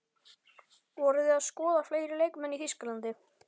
Voruð þið að skoða fleiri leikmenn í Þýskalandi?